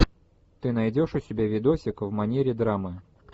ты найдешь у себя видосик в манере драмы